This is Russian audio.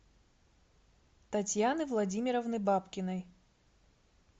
татьяны владимировны бабкиной